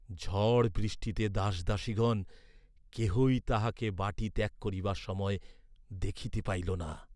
ঝড় বৃষ্টিতে দাসদাসীগণ কেহই তাহাকে বাটী ত্যাগ করিবার সময় দেখিতে পাইল না।